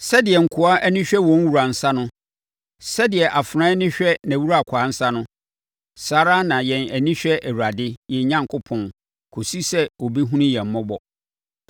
Sɛdeɛ nkoa ani hwɛ wɔn wura nsa no, sɛdeɛ afenaa ani hwɛ nʼawurakwaa nsa no, saa ara na yɛn ani hwɛ Awurade, yɛn Onyankopɔn kɔsi sɛ ɔbɛhunu yɛn mmɔbɔ.